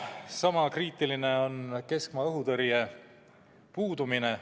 Sama kriitiline on keskmaa õhutõrje puudumine.